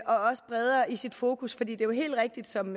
også bredere i sit fokus for det er jo helt rigtigt som